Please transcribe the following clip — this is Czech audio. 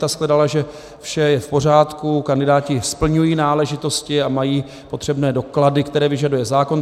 Ta shledala, že vše je v pořádku, kandidáti splňují náležitosti a mají potřebné doklady, které vyžaduje zákon.